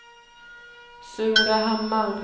Surahammar